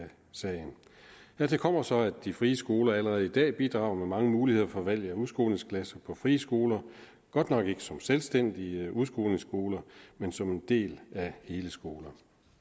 sagen dertil kommer så at de frie skoler allerede i dag bidrager med mange muligheder for valg af udskolingsklasser på friskoler godt nok ikke som selvstændige udskolingsskoler men som en del af hele skolen